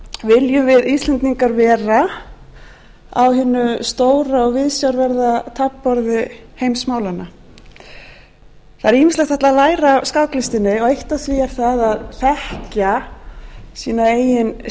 viljum við íslendingar vera á hinu stóra og viðsjárverða taflborði heimsmálanna það er ýmislegt hægt að læra af skáklistinni og eitt af því er það að þekkja sína eigin